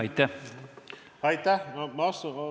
Aitäh!